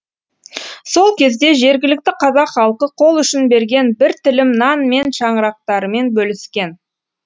сол кезде жергілікті қазақ халқы қол ұшын берген бір тілім нан мен шаңырақтарымен бөліскен